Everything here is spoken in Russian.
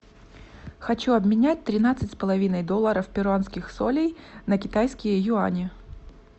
хочу обменять тринадцать с половиной долларов перуанских солей на китайские юани